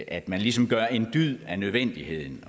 at man ligesom gør en dyd af nødvendigheden